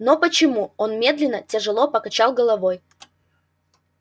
но почему он медленно тяжело покачал головой